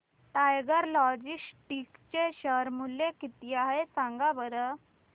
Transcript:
tiger Logistics चे share मूल्य किती आहे सांगा बरं